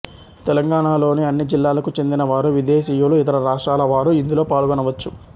తెలంగాణలోని అన్ని జిల్లాలకు చెందిన వారు విదేశీయులు ఇతర రాష్ట్రాల వారూ ఇందులో పాల్గొనవచ్చు